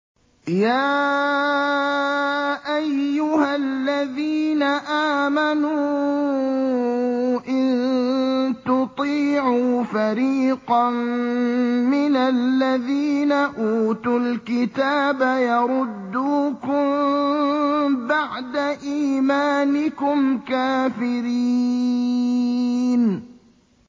يَا أَيُّهَا الَّذِينَ آمَنُوا إِن تُطِيعُوا فَرِيقًا مِّنَ الَّذِينَ أُوتُوا الْكِتَابَ يَرُدُّوكُم بَعْدَ إِيمَانِكُمْ كَافِرِينَ